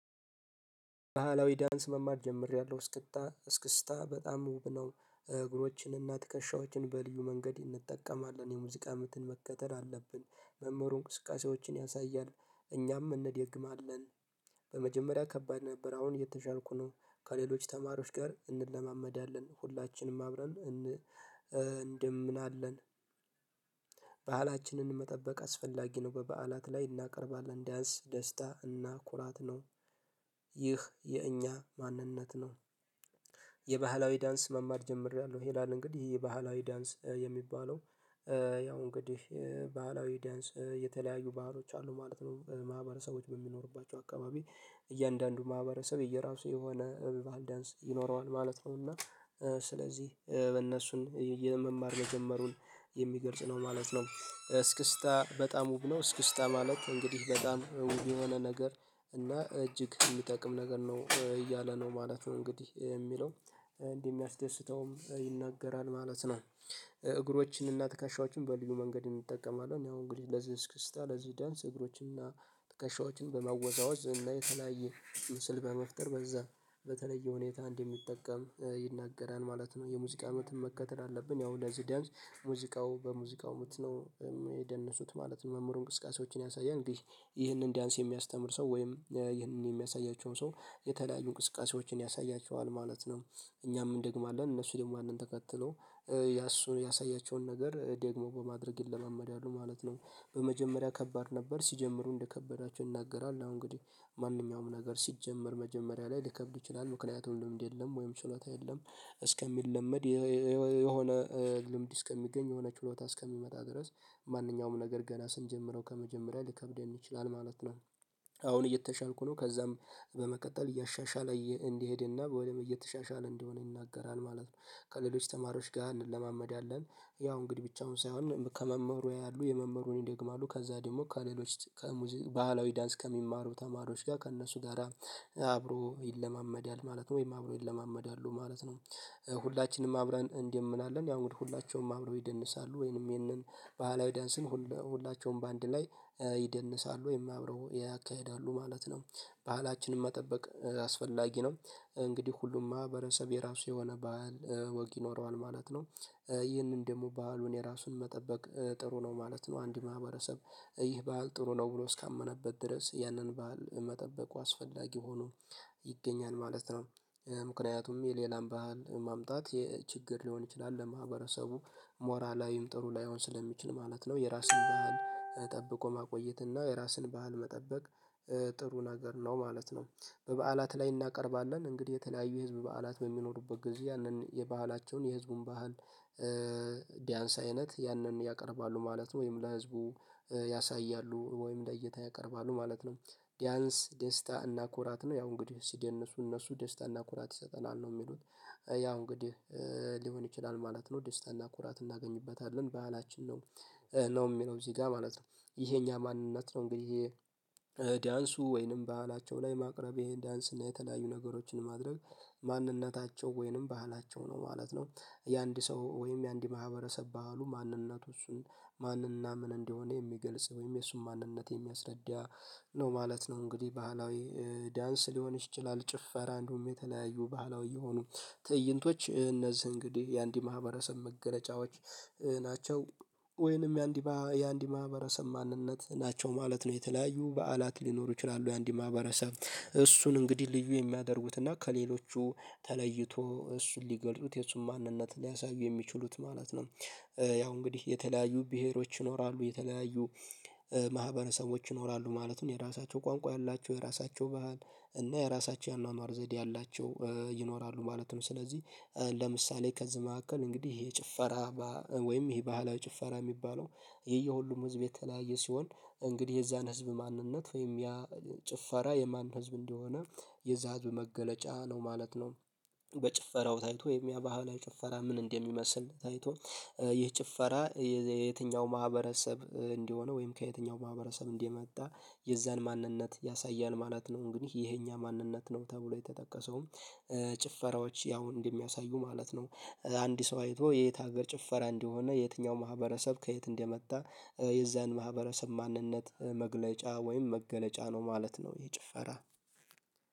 ባህላዊ ዳንስ መማር ጀምሬያለሁ እስክታ እስክስታ በጣም ውብ ነው። እግሮችን እና ትከሻዎችን በልዩ መንገድ እንጠቀማለን የሙዚቃ ምትን መከተል አለብን። መምህሩ እንቅስቃሴዎችን ያሳያል። እኛም እንዴግማለን። በመጀመሪያ ከባድ ነበር አሁን እየተሻልኩ ነው። ከሌሎች ተማሪዎች ጋር እንለማመዳለን ሁላችንም አብረን እን እንደምንአለን። ባህላችንን መጠበቅ አስፈላጊ ነው። በበዓላት ላይ እናቀርባለን ዳንስ ደስታ እና ኩራት ነው። ይህ የእኛ ማንነት ነው። የባህላዊ ዳንስ መማር ጀምሬያለሁ ይላል እንግዲህ የባህላዊ ዳንስ የሚባለው። ያው እንግዲህ ባህላዊ ዳንስ የተለያዩ ባህሎች አሉ ማለት ነው። ማህበረሰቦች በሚኖሩባቸው አካባቢ። እያንዳንዱ ማህበረሰብ የየራሱ የሆነ እብባህል ዳንስ ይኖረዋል ማለት ነው። እና ስለዚህ በእነሱን የመማር መጀመሩን የሚገልጽ ነው ማለት ነው። እስክስታ በጣም ውብ ነው። እስክስታ ማለት እንግዲህ በጣም የሆነ ነገር እና እጅግ ሚጠቅም ነገር ነው እያለ ነው ማለት ነው እንግዲህ የሚለው እንዲህ የሚያስደስተውም ይናገራል ማለት ነው። እግሮችንና ትከሻዎችን በልዩ መንገድ እንጠቀማለን ያው እንግዲህ ለዚህ እስክስታ ለዚህ ዳንስ እግሮችን እና ተከሻዎችን በማወዛወዝ እና የተለያየ ምስል በመፍጠር በዛ በተለየ ሁኔታ እንደሚጠቀም ይናገራል ማለት ነው። የሙዚቃ ምትም መከተል አለብን። ያው ለዚህ ዳንስ ሙዚቃው በሙዚቃው ምት ነው የሚደነሱት ማለት ነው። መምህሩ እንቅስቃሴዎችን ያሳያል። ይህንን ዳንስ የሚያስተምር ሰው ወይም ይህንን የሚያሳያቸውን ሰው የተለያዩ እንቅስቃሴዎችን ያሳያቸዋል ማለት ነው። እኛም እንደግማአለን እነሱ ደግሞ ያነን ተከትለው ያሱን ያሳያቸውን ነገር ደግሞ በማድረግ ይለማመዳሉ ማለት ነው። በመጀመሪያ ከባድ ነበር ሲጀምሩ እንደከበዳቸው ይናገራል አዎ እንግዲህ ማንኛውም ነገር ሲጀመር መጀመሪያ ላይ ሊከብድ ይችላል ምክንያቱም ልምድ የለም ወይም ሽሎታ የለም። እስከሚለመድ የሆነ ልምድ እስከሚገኝ የሆነ ችሎታ እስከሚመጣ ድረስ ማንኛውም ነገር ገና ስንጀምረው ከመጀመሪያ ሊከብደን ይችላል ማለት ነው። አሁን እየተሻልኩ ነው ከዛም በመቀጠል እያሻሻለ እንዲሄድና በወይም እየተሻሻለ እንደሆነ ይናገራል ማለት ነው። ከሌሎች ተማሪዎች ጋር እንለማመዳለን። ያው እንግዲህ ብቻውን ሳይሆን ከመምሩ ያያሉ የመምህሩን ይደግማሉ ከዛ ደግሞ ከሌሎች ከሙዚቃ ባህላዊ ዳንስ ከሚማሩ ተማሪዎች ጋር ከእነሱ ጋራ አብሮ ይለማመዳል ነው ወይም አብሮ ይለማመዳሉ ማለት ነው። ሁላችንም አብረን እንዲህምንአለን ያው ሁላችሁም አብረው ይደንሳሉ ወይንም ይሄንን ባህላዊ ዳንስን ሁላቸውም በአንድ ላይ ይደንሳሉ አብረው ያካሂዳሉ ማለት ነው። ባህላችንን መጠበቅ አስፈላጊ ነው። እንግዲህ ሁሉም ማህበረሰብ የራሱ የሆነ ባህል ወግ ይኖረዋል ማለት ነው። ይህንን ደግሞ ባህሉን የራሱን መጠበቅ ጥሩ ነው ማለት ነው አንድ ማህበረሰብ ይህ በዓል ጥሩ ነው ብሎ እስካመነበት ድረስ ያንን በዓል መጠበቁ አስፈላጊ ሆኖ ይገኛል ማለት ነው። ምክንያቱም የሌላን ባህል ማምጣት የችግር ሊሆን ይችላል ለማህበረሰቡ ሞራላዊም ጥሩ ላይሆን ስለሚችል ማለት ነው። የራስን ባህል ጠብቆ ማቆየት እና የራስን ባህል መጠበቅ ጥሩ ነገር ነው ማለት ነው። በበዓላት ላይ እናቀርባለን እንግዲህ የተለያዩ የህዝብ በዓላት በሚኖሩበት ጊዜ ያንን የባህላቸውን የህዝቡን ባህል ዳያንስ አይነት ያንን ያቀርባሉ ማለት ነው። ወይም ለህዝቡ ያሳያሉ ወይም ለእይታ ያቀርባሉ ማለት ነው። ዳያንስ ደስታ እና ኩራት ነው ያው እንግዲህ ሲደነሱ እነሱ ደስታ እና ኩራት ይሰጠናል ነው የሚሉት ያው እንግዲህ ሊሆን ይችላል ማለት ነው ደስታና ኩራት እናገኝበታለን ባህላችን ነው። ነው የሚለው እዚህ ጋር ማለት ነው። ይሄ እኛ ማንነት ነው እንግዲህ ይሄ ዳንሱ ወይንም በዓላቸው ላይ ማቅረቤ ዳንስ እና የተለያዩ ነገሮችን ማድረግ ማንነታቸው ወይንም ባህላቸው ነው ማለት ነው። የአንድ ሰው ወይም የአንድ ማህበረሰብ ባህሉ ማንነቱ እሱን ማንና ምን እንደሆነ የሚገልጽ ወይም የእሱን ማንነት የሚያስረዳ ነው ማለት ነው። እንግዲህ ባህላዊ ዳንስ ሊሆን ይችላል ጭፈራ እንደሁም የተለያዩ ባህላዊ የሆኑ ትእይንቶች እነዚህ እንግዲህ የአንድ ማህበረሰብ መገለጫዎች ናቸው። ወይንም የአንዲባ የአንዲ ማህበረሰብ ማንነት ናቸው ማለት ነው። የተለያዩ በዓላት ሊኖሩ ይችላሉ የአንድ ማህበረሰብ እሱን እንግዲህ ልዩ የሚያደርጉትና ከሌሎቹ ተለይቶ እሱን ሊገልጡት የሱን ማንነት ሊያሳዩ የሚችሉት ማለት ነው። ያው እንግዲህ የተለያዩ ብሄሮች ይኖራሉ የተለያዩ ማህበረሰቦች ይኖራሉ ማለቱን የራሳቸው ቋንቋ ያላቸው የራሳቸው ባህል እና የራሳቸው የአኗኗር ዘዴ ያላቸው ይኖራሉ ማለት ነው። ስለዚህ ለምሳሌ ከዚህ መካከል እንግዲህ ይሄ ጭፈራ። ወይም ይሄ ባህላዊ ጭፈራ ሚባለው ይሄ የሁሉም ህዝብ የተለያየ ሲሆን እንግዲህ የዛን ህዝብ ማንነት ወይም ያ ጭፈራ የማን ህዝብ እንደሆነ የዛ ህዝብ መገለጫ ነው ማለት ነው። በጭፈራው ታይቶ የኛ ባህላይ ጭፈራ ምን እንደሚመስል ታይቶ ይህ ጭፈራ የትኛው ማህበረሰብ እንዲሆነ ወይም ከየትኛው ማህበረሰብ እንዲህ የመጣ የዛን ማንነት ያሳያል ማለት ነው። ግን ይሄ የኛ ማንነት ነው ተብሎ የተጠቀሰውም ጭፈራዎች ያው እንደሚያሳዩ ማለት ነው። አንድ ሰው አይቶ የየት ሀገር ጭፈራ እንዲሆነ የትኛው ማህበረሰብ ከየት እንደመጣ የዛን ማህበረሰብ ማንነት መግለጫ ወይም መገለጫ ነው ማለት ነው። ይህ ጭፈራ